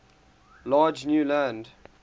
large new land